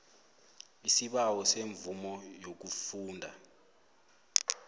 isibawo semvumo yokufunda